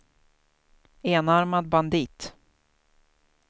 enarmad bandit